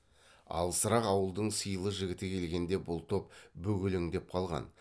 алысырақ ауылдың сыйлы жігіті келгенде бұл топ бөгелеңдеп қалған